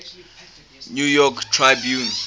new york tribune